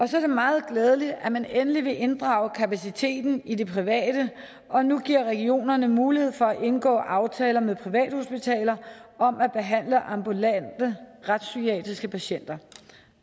så er det meget glædeligt at man endelig vil inddrage kapaciteten i det private og nu giver regionerne mulighed for at indgå aftaler med privathospitaler om at behandle ambulante retspsykiatriske patienter